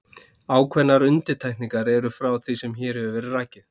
Ákveðnar undantekningar eru frá því sem hér hefur verið rakið.